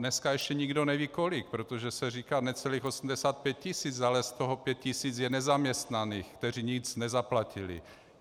Dneska ještě nikdo neví kolik, protože se říká necelých 85 tisíc, ale z toho 5 tisíc je nezaměstnaných, kteří nic nezaplatili.